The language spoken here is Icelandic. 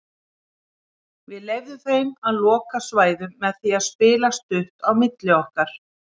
Við leyfðum þeim að loka svæðum með því að spila stutt á milli okkar.